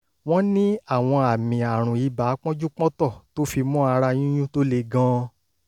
wọ́n ní àwọn àmì àrùn ibà pọ́njú-pọ́ntọ̀ tó fi mọ́ ara yúntún tó le gan-an